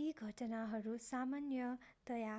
यी घटनाहरू सामान्यतया